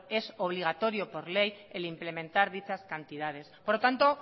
es obligatorio por ley implementar dichas cantidades por lo tanto